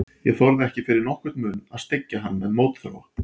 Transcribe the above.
Ég þorði ekki fyrir nokkurn mun að styggja hann með mótþróa.